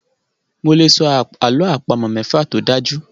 Mo lè sọ àlọ́ àpamọ̀ mẹ́fa tó dájú.